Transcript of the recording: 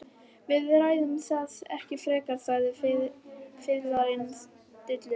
Við ræðum það ekki frekar, sagði fiðlarinn stillilega.